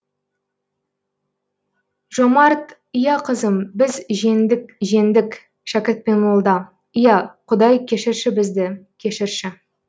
жомарт иә қызым біз жеңдік жеңдік шәкірт пен молда иә құдай кешірші бізді кешірші